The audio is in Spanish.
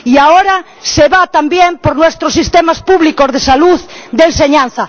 y ahora se va también a por nuestros sistemas públicos de salud, de enseñanza.